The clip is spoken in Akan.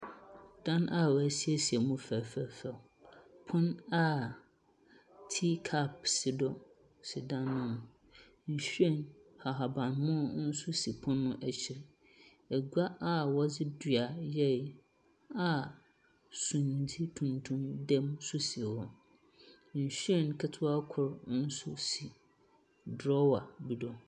Dan a woesieise mu fɛɛfɛɛfɛw. Pon a tea cup si do si dan no mu. Nhyiren ahabammono nso si pon no akyir. Agua wɔdze dua yɛe a sumdze tuntum da mu nso si hɔ. Nhyiren ketsewa kor nso si drawer bi so.